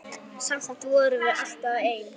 Samt vorum við alltaf ein.